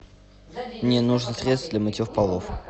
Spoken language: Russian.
мне нужно средство для мытьев полов